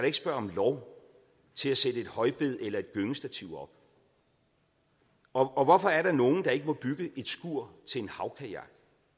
ikke spørge om lov til at sætte et højbed eller et gyngestativ op og hvorfor er der nogle der ikke må bygge et skur til en havkajak